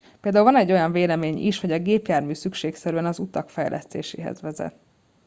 például van egy olyan vélemény is hogy a gépjármű szükségszerűen az utak fejlesztéséhez vezet